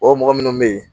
O mɔgɔ minnu bɛ yen